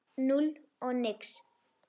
Núll og nix.